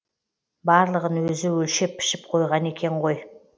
барлығын өзі өлшеп пішіп қойған екен ғой